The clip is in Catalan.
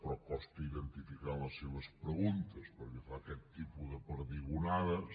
però costa identificar les seves preguntes perquè fa aquest tipus de perdigonades